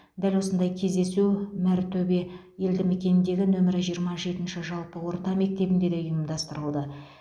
дәл осындай кездесу мәртөбе елдімекеніндегі нөмір жиырма жетінші жалпы орта мектебінде де ұйымдастырылды